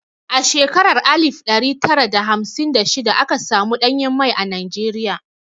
A shekarar alif ɗari tara da hamsin da shida aka samu ɗanyen mai a Najeriya.